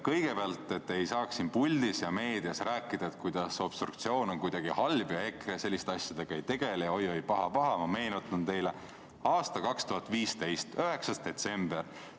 Kõigepealt, et te ei saaks siin puldis ja meedias rääkida, kuidas obstruktsioon on kuidagi halb ja EKRE selliste asjadega ei tegele, oi-oi, paha-paha, ma meenutan teile 2015. aasta 9. detsembrit.